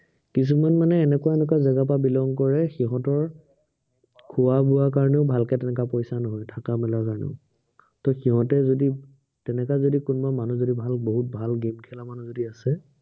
কিছুমান মানে এনেকুৱা এনেকুৱা জেগাৰ পৰা belong কৰে, সিহঁতৰ খোৱা বোৱাৰ কাৰনেও ভালকে তেনেকা পইচা নহয়, থকা মেলাৰ কাৰনেও। ত সিহঁতে যদি তেনেকা যদি কোনোবা মানুহ যদি ভাল বহুত ভাল game খেলা মানুহ যদি আছে